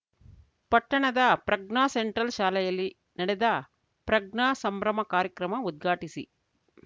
ಪಟ್ಟಣದ ಪ್ರಜ್ಞಾ ಸೆಂಟ್ರಲ್‌ ಶಾಲೆಯಲ್ಲಿ ನಡೆದ ಪ್ರಜ್ಞಾ ಸಂಭ್ರಮ ಕಾರ್ಯಕ್ರಮ ಉದ್ಘಾಟಿಸಿ